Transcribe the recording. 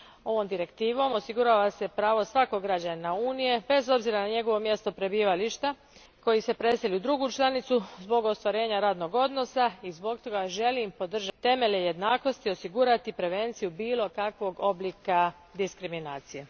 Ovom direktivom osigurava se pravo svakog građanina Unije bez obzira na njegovo mjesto prebivališta, koji se preseli u drugu članicu zbog ostvarenja radnog odnosa i zbog toga želim temelje jednakosti, osigurati prevenciju bilo kakvog oblika diskriminacije.